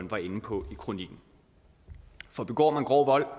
var inde på i kronikken for begår man grov vold